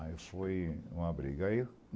Aí isso foi uma briga. Aí